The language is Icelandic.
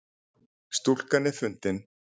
Stúlkan er fundin